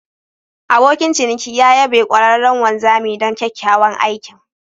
Abokin ciniki ya yabe ƙwararren wanzami don kyakkyawan aikin.